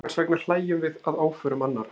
Hvers vegna hlæjum við að óförum annarra?